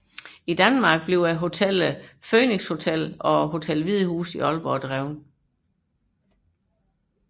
I Danmark drives hotellerne Helnan Phoenix Hotel og Hotel Hvide Hus i Aalborg